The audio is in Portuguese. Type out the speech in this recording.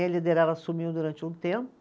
Aí a liderada assumiu durante um tempo.